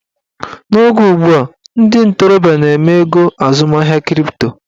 N'oge ugbua, ndị ntorobịa na-eme ego azụmahịa kripto